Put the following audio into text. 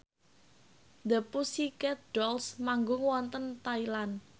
The Pussycat Dolls manggung wonten Thailand